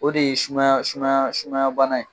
O de ye sumaya sumaya sumaya bana ye.